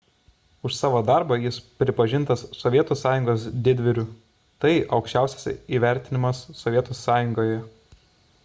už savo darbą jis pripažintas sovietų sąjungos didvyriu – tai aukščiausias įvertinimas sovietų sąjungoje